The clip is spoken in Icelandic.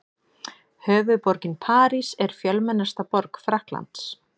Höfuðborgin París er fjölmennasta borg Frakklands.